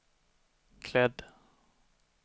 klädd